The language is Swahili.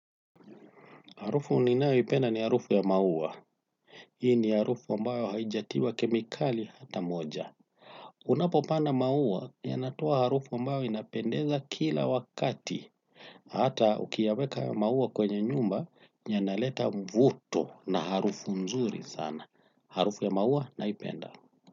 Harufu ninayoipenda ni harufu ya maua. Hii ni harufu ambao haijatiwa kemikali hata moja. Unapopanda maua yanatoa harufu ambao inapendeza kila wakati. Hata ukiyaweka maua kwenye nyumba yanaleta mvuto na harufu nzuri sana. Harufu ya maua naipenda.